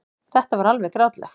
Þetta var alveg grátlegt.